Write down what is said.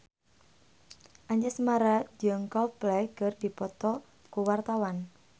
Anjasmara jeung Coldplay keur dipoto ku wartawan